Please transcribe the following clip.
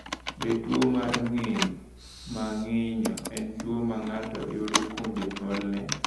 Be tuo mar ng’injo ma ng’injo en tuo ma ng’ato yudo kuom jonyuolne?